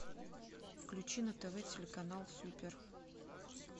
включи на тв телеканал супер